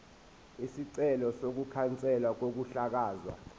isicelo sokukhanselwa kokuhlakazwa